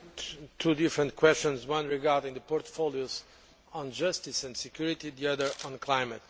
Two different questions one regarding the portfolios on justice and security, the other on climate.